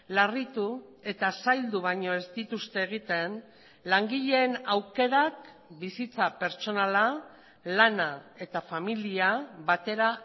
larritu eta zaildu baino ez dituzte egiten langileen aukerak bizitza pertsonala lana eta familia batera